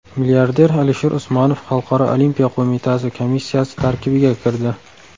Milliarder Alisher Usmonov Xalqaro olimpiya qo‘mitasi komissiyasi tarkibiga kirdi.